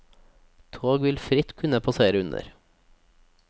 Tog vil fritt kunne passere under.